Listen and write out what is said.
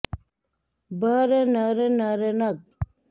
भ र न र न र न ग